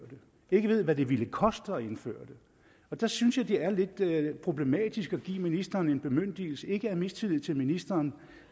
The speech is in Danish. ikke ved hvad det vil koste at indføre og der synes jeg det er lidt problematisk at give ministeren en bemyndigelse ikke af mistillid til ministeren